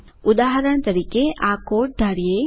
ઉદાહરણ તરીકે આ કોડ ધારીએ